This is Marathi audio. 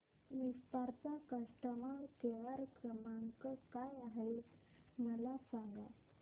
विस्तार चा कस्टमर केअर क्रमांक काय आहे मला सांगा